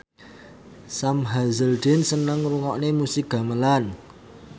Sam Hazeldine seneng ngrungokne musik gamelan